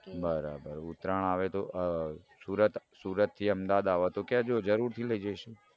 બરાબર ઉત્તરાયણ આવે તો અઅ સુરતથી અમદાવાદ આવો તો કેજો જરૂરથી લઇ જઈસુ.